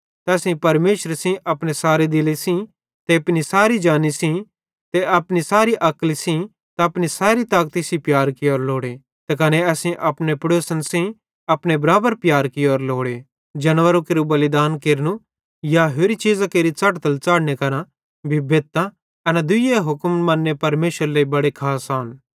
त असेईं परमेशरे सेइं अपने सारे दिले सेइं ते अपनी सैरी जानी सेइं ते अपनी सैरी अक्ली सेइं त अपनी सैरी ताकती सेइं प्यार कियोरो लोड़े ते कने असेईं अपने पेड़ोसन सेइं अपने बराबर प्यार कियोरो लोड़े जानवरां केरू बलिदान केरनू या होरि चीज़ां केरि च़ढ़तल च़ाढ़ने करां भी बेधतां एना दुइये हुक्मन मन्ने परमेशरेरे लेइ बड़े खास आन